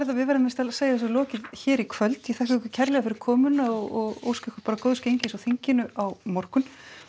við verðum víst að segja þessu lokið hér í kvöld ég þakka ykkur kærlega fyrir komuna og óska ykkur góðs gengis á þinginu á morgun